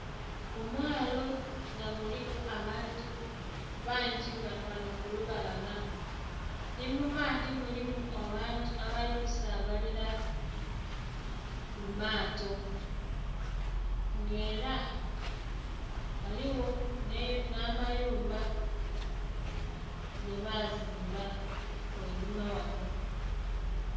Omwaalo nga gulimu abantu bangi ghanho kublubalama nhi mu maadhi mulimu abantu abali ku sabalila mu maaato nga era ghaligho nha mayumba gebazimba ghainhuma ghanho.